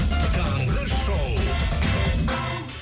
таңғы шоу